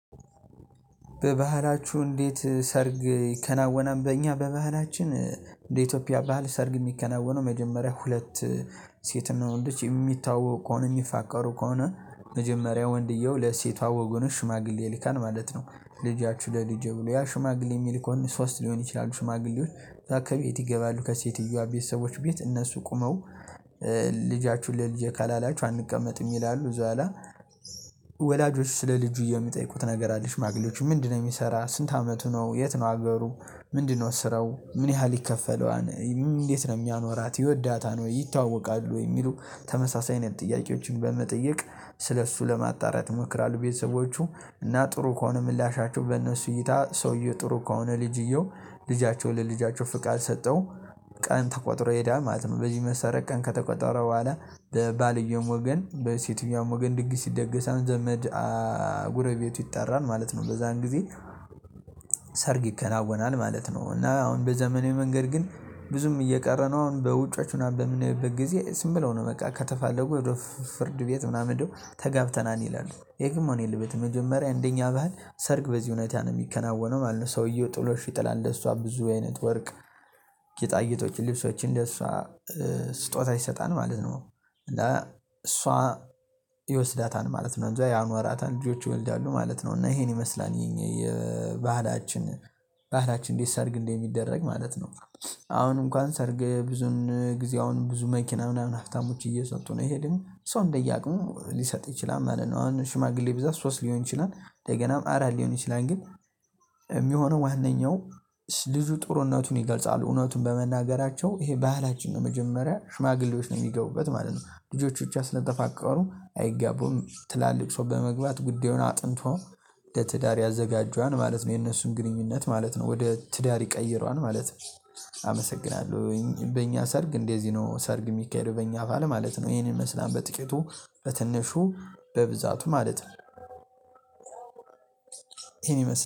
በባህላችሁ እንዴት? ሰርግ ይከናወናል በእኛ በባህላችን እንደ ኢትዮጵያ ባህል ሰርግ የሚከናወነው መጀመሪያ ሁለት ሴትና ወንዶች የሚተዋወቁ ከሆነ የሚፋቀሩ ከሆነ መጀመሪያ ወንድየው ለሴቷ ወገን ሽማግሌ ይልካል ማለት ነው። ልጃችሁ ለልጄ ብሎ ያ ሽማግሌ የሚልከው ሶስት ሊሆኑ ይችላል ይችላሉ ሽማግሌዎች። ከቤት ይገባሉ ከሴትየዋ ቤተሰቦች ቤት እነሱ ቆመው ልጃችሁን ለልጄ ካላላችሁ አንቀመጥም ይላሉ። በቃ ወላጆች ስለልጄ የምጠይቁት ነገር አለ ሽማግለጫዎቹ ምንድነው? የሚሰራው ስንት አመቱ ነው? የት ነው አገሩ? ምንድነው ስራው? ምን ያህል ይከፈለዋል? እንዴት ነው የሚያኖራት ይወዳታል ወይ ይተዋወቃሉ ወይ የሚሉ? ተመሳሳይ አይነት ጥያቄዎችን በመጠየቅ ስለእሱ ለማጣራት ይሞክራሉ። ቤተሰቦቹ እና ጥሩ ከሆነ ምላሻቸው በእነሱ እይታ ሰውየው ጥሩ ከሆነ ልጅየው ለልጃቸው ፍቃድ ሰተው ቀን ተቆጥሮ ይሄዳል ማለት ነው። በዚህ መሰረት ቀን ከተቆጠረ በኋላ በባልየው ወገን በሴትየዋም ወገን ድግስ ይደገሳል ዘመድ ጎረቤቱ ይጠራል ማለት ነው። በዛን ጊዜ ሰርግ ይከናወናል ማለት ነው። እና አሁን በዘመኔ መንገድ ግን ብዙም እየቀረ ነው። አሁን በውጮች ምናምን በምንሄድበት ጊዜ ዝም ብለው ነው በቃ ከተፋለጉ ወደ ፍርድ ቤት ምናምን ሄደው ተጋብተናል ይላሉ ይህ ግን መሆን የለበትም። መጀመሪያ እንደኛ ባህል ሰርግ በዚህ ሁኔታ ነው የሚከናወነው ማለት ነው። ሰውየው ጥሎሽ ይጥላል ለሷ ብዙ አይነት ወርቅ ጌጣ ጌጦችን ልብሶችን ለሷ ስጦታ ይሰጣል ማለት ነው። እና እሷ ይወስዳታል ማለት ነው እንደዚያ ያኖራታል ልጆች ይወልዳሉ ማለት ነው። እና ይሄን ይመስላል የኛ የባህላችን ባህላችን እንዴት ሰርግ እንደሚደረግ ማለት ነው። አሁን እንኳን ሰርግ ብዙውን ጊዜ አሁን ብዙ መኪና ምናምን ሀብታሞች እየሰጡ ነው ይሄ ግንሰው እንደያውቁ ሊሰጥ ይችላል ማለት ነው። አሁን ሽማግሌ ብዛት ሶስት ሊሆን ይችላል እንደገና አራት ሊሆን ይችላል ግን የሚሆነው ዋናው ልጁ ጥሩነቱን ይገልጻሉ እውነቱን በመናገራቸው ይሄ ባህላችን ነው መጀመሪያ ሽማግሌዎች ነው የሚገቡበት ማለት ነው። ልጆቻችን ብቻ ስለተፋቀሩ አይጋቡም። ትላልቅ ሰው በመግባት ጉዳዩን አጥንቶ ለትዳር ያዘጋጀዋን ማለት ነው። የነሱን ግንኙነት ማለት ነው ወደ ትዳር ይቀይረዋል ማለት ነው። አመሰግናለሁ። በእኛ ሰርግ እንደዚህ ነው ሰርግ የሚካሄደው በእኛ በዓል ማለት ነው። ይሄንን ይመስላል በጥቂቱ በትንሹ በብዛቱ ማለት ነው። ይሄን ይመስላል